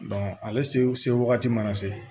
ale se wagati mana se